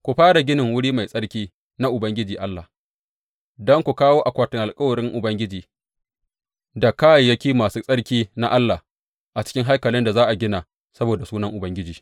Ku fara ginin wuri mai tsarki na Ubangiji Allah, don ku kawo akwatin alkawarin Ubangiji da kayayyaki masu tsarki na Allah a cikin haikalin da za a gina saboda Sunan Ubangiji.